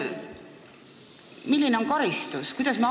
Milline on karistus?